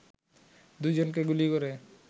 দুইজনকে গুলি করে